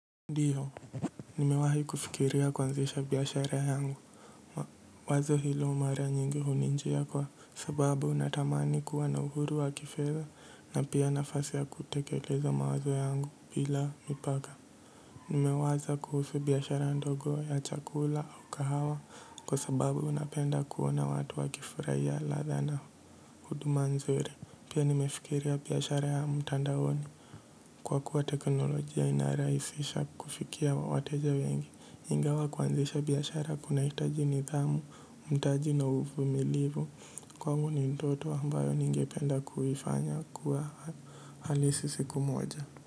Ndio, nimewahi kufikiria kuanzisha biashara yangu. Wazo hilo mara nyingi huninjia kwa sababu natamani kuwa na uhuru wa kifedha na pia nafasi ya kutekeleza mawazo yangu bila mipaka. Nimewaza kuhusu biashara ndogo ya chakula au kahawa kwa sababu napenda kuona watu wakifurahia ladha na huduma nzuri. Pia nimefikiria biashara ya mtandaoni kwa kuwa teknolojia inarahisisha kufikia wateja wengi. Ingawa kuanzisha biashara kunahitaji nidhamu, mtaji na uvumilivu, kwangu ni ndoto ambayo ningependa kuifanya kuwa halisi siku moja.